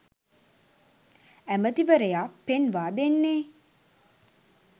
ඇමතිවරයා පෙන්වා දෙන්නේ.